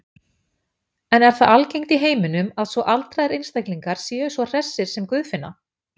En er það algengt í heiminum að svo aldraðir einstaklingar séu svo hressir sem Guðfinna?